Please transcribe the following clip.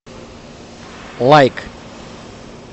лайк